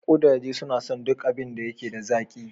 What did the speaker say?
Kudaje suna son duk abin da yake da zaƙi.